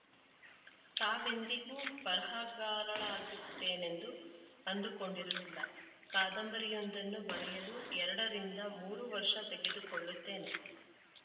ತಾವೆಂದಿಗೂ ಬರಹಗಾರಳಾಗಿರುತ್ತೇನೆಂದು ಅಂದುಕೊಂಡಿರಲಿಲ್ಲ ಕಾದಂಬರಿಯೊಂದನ್ನು ಬರೆಯಲು ಎರಡರಿಂದ ಮೂರು ವರ್ಷ ತೆಗೆದುಕೊಳ್ಳುತ್ತೇನೆ